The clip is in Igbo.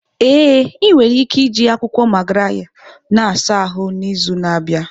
Ee, ị nwere ike iji akwụkwọ Magarya na-asa ahụ n'izu na-abịa.